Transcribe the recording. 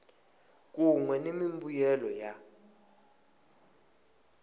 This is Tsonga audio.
kun we ni mimbuyelo ya